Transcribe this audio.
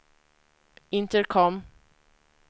intercom